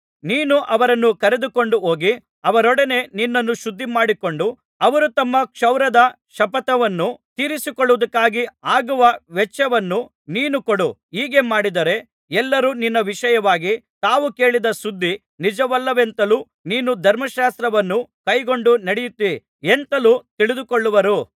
ನೀನು ಅವರನ್ನು ಕರೆದುಕೊಂಡು ಹೋಗಿ ಅವರೊಡನೆ ನಿನ್ನನ್ನು ಶುದ್ಧಿಮಾಡಿಕೊಂಡು ಅವರು ತಮ್ಮ ಕ್ಷೌರದ ಶಪಥವನ್ನು ತೀರಿಸಿಕೊಳ್ಳುವುದಕ್ಕಾಗಿ ಆಗುವ ವೆಚ್ಚವನ್ನು ನೀನು ಕೊಡು ಹೀಗೆ ಮಾಡಿದರೆ ಎಲ್ಲರೂ ನಿನ್ನ ವಿಷಯವಾಗಿ ತಾವು ಕೇಳಿದ ಸುದ್ದಿ ನಿಜವಲ್ಲವೆಂತಲೂ ನೀನು ಧರ್ಮಶಾಸ್ತ್ರವನ್ನು ಕೈಕೊಂಡು ನಡೆಯುತ್ತೀ ಎಂತಲೂ ತಿಳಿದುಕೊಳ್ಳುವರು